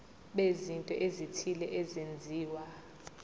bezinto ezithile ezenziwa